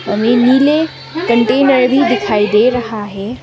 हमें नीले कंटेनर भी दिखाई दे रहा है।